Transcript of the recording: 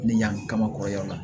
Ni yan kaba kɔrɔ ya la